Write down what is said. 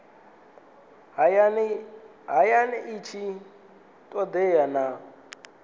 hayani i tshi todea na